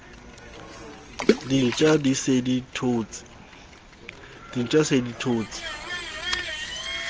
dintja di se di thotse